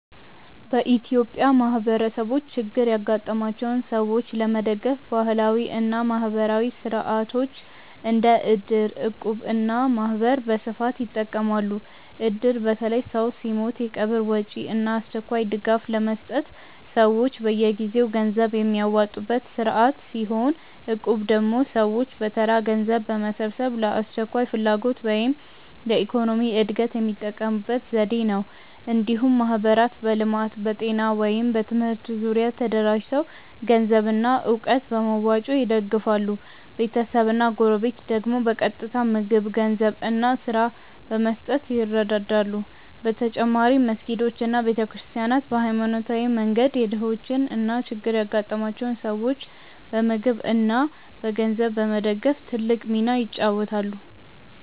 በኢትዮጵያ ማህበረሰቦች ችግር ያጋጠማቸውን ሰዎች ለመደገፍ ባህላዊ እና ማህበራዊ ሥርዓቶች እንደ እድር፣ እቁብ እና ማህበር በስፋት ይጠቀማሉ። እድር በተለይ ሰው ሲሞት የቀብር ወጪ እና አስቸኳይ ድጋፍ ለመስጠት ሰዎች በየጊዜው ገንዘብ የሚያዋጡበት ስርዓት ሲሆን፣ እቁብ ደግሞ ሰዎች በተራ ገንዘብ በመሰብሰብ ለአስቸኳይ ፍላጎት ወይም ለኢኮኖሚ እድገት የሚጠቀሙበት ዘዴ ነው። እንዲሁም ማህበራት በልማት፣ በጤና ወይም በትምህርት ዙሪያ ተደራጅተው ገንዘብና እውቀት በመዋጮ ይደግፋሉ፤ ቤተሰብና ጎረቤት ደግሞ በቀጥታ ምግብ፣ ገንዘብ እና ስራ በመስጠት ይረዱ። በተጨማሪም መስጊዶች እና ቤተ ክርስቲያናት በሃይማኖታዊ መንገድ የድሆችን እና ችግር ያጋጠማቸውን ሰዎች በምግብ እና በገንዘብ በመደገፍ ትልቅ ሚና ይጫወታሉ።